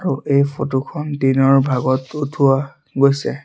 আৰু এই ফটোখন দিনৰ ভাগত উঠোৱা গৈছে।